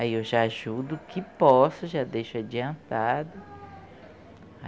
Aí eu já ajudo o que posso, já deixo adiantado.